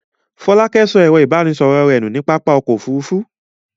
Fọlákẹ́ sọ ẹ̀rọ-ìbánisọ̀rọ̀ rẹ̀ nù ní pápá ọkọ̀-òfurufú?